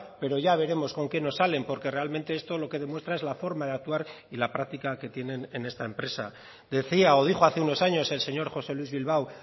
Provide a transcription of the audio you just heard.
pero ya veremos con qué nos salen porque realmente esto lo que demuestra es la forma de actuar y la práctica que tienen en esta empresa decía o dijo hace unos años el señor josé luís bilbao